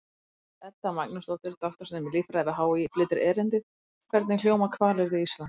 Elísabet Edda Magnúsdóttir, doktorsnemi í líffræði við HÍ, flytur erindið: Hvernig hljóma hvalir við Ísland?